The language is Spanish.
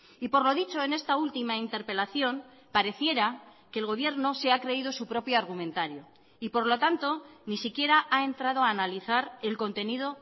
y por lo dicho en esta última interpelación pareciera que el gobierno se ha creído su propio argumentario y por lo tanto ni siquiera ha entrado a analizar el contenido